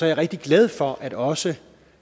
jeg rigtig glad for at også